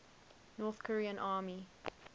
north korean army